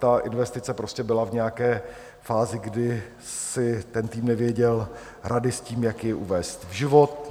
Ta investice prostě byla v nějaké fázi, kdy si ten tým nevěděl rady s tím, jak jej uvést v život.